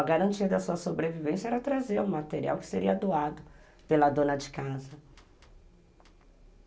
A garantia da sua sobrevivência era trazer o material que seria doado pela dona de casa.